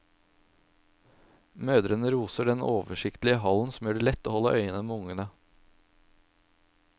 Mødrene roser den oversiktlige hallen som gjør det lett å holde øye med ungene.